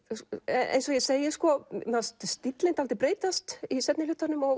eins og ég segi mér fannst stíllinn dálítið breytast í seinni hlutanum og